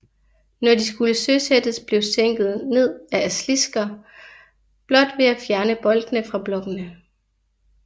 Når de skulle søsættes blev sænket ned ad af slisker blot ved at fjerne boltene fra blokkene